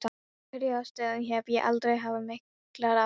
Af einhverjum ástæðum hef ég aldrei haft miklar áhyggjur af